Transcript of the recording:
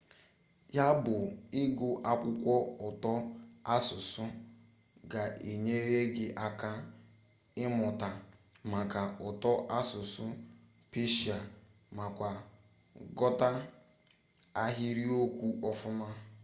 ya bu igu akwukwo uto asusu ga enyere gi aka imuta maka uto asusu persia makwa ghota ahiriokwu ofuma